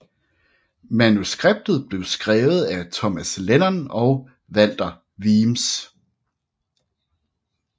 Manuskriptet blev skrevet af Thomas Lennon og Walter Weems